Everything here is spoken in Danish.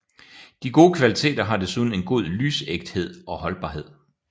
De gode kvaliteter har desuden en god lysægthed og holdbarhed